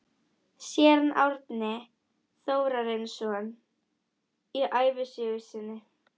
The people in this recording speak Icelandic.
Séra Árni Þórarinsson í ævisögu sinni